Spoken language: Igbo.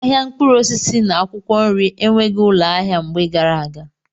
Ahịa mkpụrụ osisi na akwụkwọ nri enweghị ụlọ ahịa mgbe gara aga.